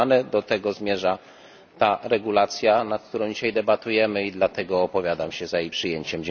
Do tego zmierza ta regulacja, nad którą dzisiaj debatujemy, i dlatego opowiadam się za jej przyjęciem.